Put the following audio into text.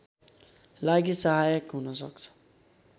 लागि सहायक हुन सक्छ